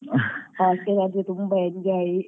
Hostel ಆದ್ರೆ ತುಂಬಾ enjoy